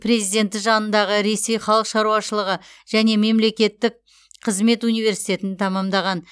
президенті жанындағы ресей халық шаруашылығы және мемлекеттік қызмет университетін тәмамдаған